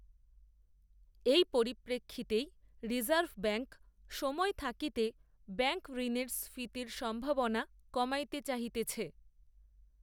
এই পরিপ্রেক্ষিতেই reserve bank, সময় থাকিতে ব্যাঙ্কঋণের স্ফীতির সম্ভাবনা কমাইতে চাহিতেছে